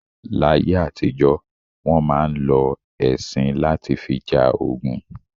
Láyé àtìjọ́, wọn máa ń lọ ẹṣin lati fi ja ogun